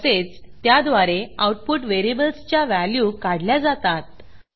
तसेच त्याद्वारे आऊटपुट व्हेरिएबल्सच्या व्हॅल्यू काढल्या जातात